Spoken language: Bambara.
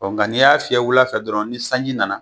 Nka n'i y'a fiyɛ wula fɛ dɔrɔn ni sanji nana